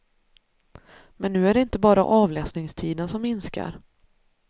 Men nu är det inte bara avläsningstiden som minskar.